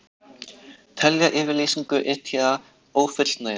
Telja yfirlýsingu ETA ófullnægjandi